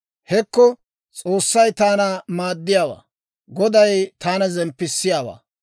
Hekko S'oossay taana maaddiyaawaa; Goday taana zemppissiyaawaa.